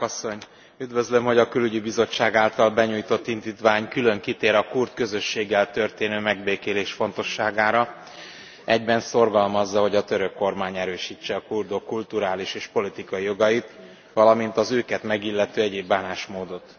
Elnök Asszony, üdvözlöm, hogy a Külügyi Bizottság által benyújtott indítvány külön kitér a kurd közösséggel történő megbékélés fontosságára, egyben szorgalmazza, hogy a török kormány erősítse a kurdok kulturális és politikai jogait, valamint az őket megillető egyenlő bánásmódot.